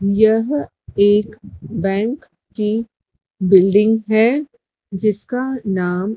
यह एक बैंक की बिल्डिंग है जिसका नाम--